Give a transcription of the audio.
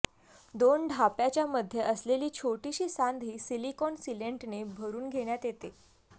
दोन ढाप्याच्यामध्ये असलेली छोटीशी सांधही सिलिकॉन सिलेंटने भरून घेण्यात येते